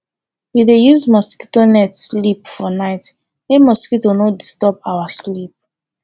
we dey use mosquito net sleep for night mey mosquito no disturb our sleep